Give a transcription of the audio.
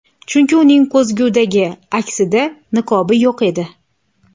Chunki uning ko‘zgudagi aksida niqobi yo‘q edi.